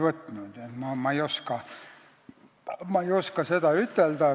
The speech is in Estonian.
Nii et ma ei oska ütelda.